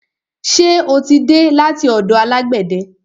Ṣe o tí dé láti ọ̀dọ̀ alágbẹ̀de?